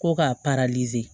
Ko ka